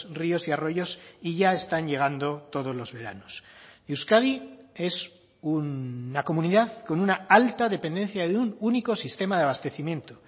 ríos y arroyos y ya están llegando todos los veranos euskadi es una comunidad con una alta dependencia de un único sistema de abastecimiento